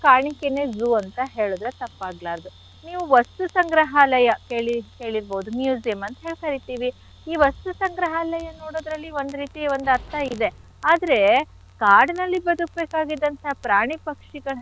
ಕಾಣಿಕೆನೆ zoo ಅಂತ ಹೇಳಿದ್ರೆ ತಪ್ಪಾಗ್ಲಾರ್ದು. ನೀವು ವಸ್ತು ಸಂಗ್ರಹಾಲಯ ಕೇಳಿ~ ಕೇಳಿರ್ಬಹುದು museum ಅಂತ ಹೇಳ್ ಕರೀತೀವಿ. ಈ ವಸ್ತು ಸಂಗ್ರಹಾಲಯ ನೋಡೋದ್ರಲ್ಲಿ ಒಂದ್ ರೀತಿ ಒಂದ್ ಅರ್ಥ ಇದೆ. ಆದ್ರೆ ಕಾಡಿನಲ್ಲಿ ಬದುಕ್ಬೇಕಾಗಿದ್ದಂಥ ಪ್ರಾಣಿ ಪಕ್ಷಿಗಳನ್ನೆಲ್ಲ.